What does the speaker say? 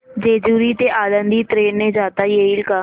जेजूरी ते आळंदी ट्रेन ने जाता येईल का